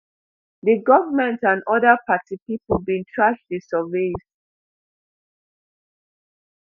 di goment and oda party pipo bin trash di surveys